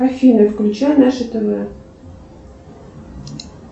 афина включай наше тв